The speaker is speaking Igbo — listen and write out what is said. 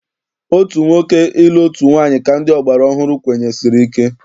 Otu nwoke ịlụ otu nwaanyị ka ndị ọgbara ọhụrụ kwenyesiri ike.